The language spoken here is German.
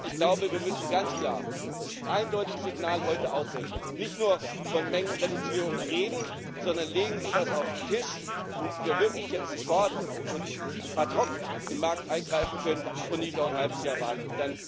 Ich glaube, wir müssen ganz klar ein eindeutiges Signal heute aussenden, nicht nur von Mengenreduzierung reden, sondern legen Sie etwas auf den Tisch, damit wir wirklich jetzt sofort und ad hoc in den Markt eingreifen können und nicht noch ein halbes Jahr warten.